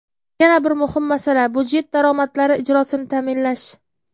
Yana bir muhim masala budjet daromadlari ijrosini ta’minlash.